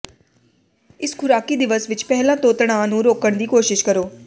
ਇਸ ਖੁਰਾਕੀ ਦਿਵਸ ਵਿਚ ਪਹਿਲਾਂ ਤੋਂ ਤਣਾਅ ਨੂੰ ਰੋਕਣ ਦੀ ਕੋਸ਼ਿਸ਼ ਕਰੋ